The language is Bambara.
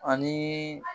Ani